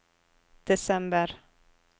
desember